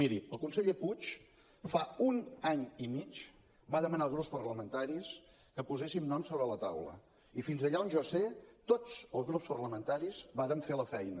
miri el conseller puig fa un any i mig que va demanar als grups parlamentaris que poséssim noms sobre la taula i fins allà on jo sé tots els grups parlamentaris vàrem fer la feina